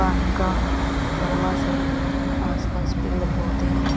पानी का थर्मास है आसपास पेड़ पौधे हैं.